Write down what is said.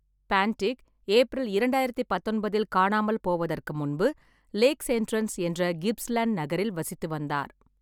பான்டிக் April இரண்டாயிரத்து பத்தொன்பதில் காணாமல் போவதற்கு முன்பு லேக்ஸ் என்ட்ரன்ஸ் என்ற கிப்ஸ்லேண்ட் நகரில் வசித்து வந்தார்.